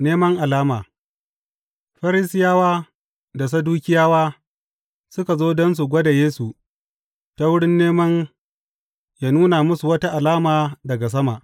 Neman alama Farisiyawa da Sadukiyawa suka zo don su gwada Yesu ta wurin neman yă nuna musu wata alama daga sama.